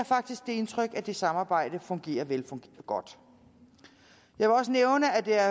faktisk det indtryk at det samarbejde fungerer godt jeg vil også nævne at der